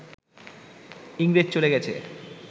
ইংরেজ চলে গেছে